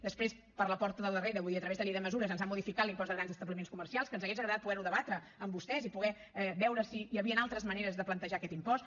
després per la porta del darrere vull dir a través de la llei de mesures ens han modificat l’impost de grans establiments comercials que ens hauria agradat poder ho debatre amb vostès i poder veure si hi havien altres maneres de plantejar aquest impost